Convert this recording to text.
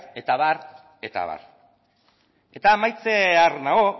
eta abar eta abar eta amaitzear nago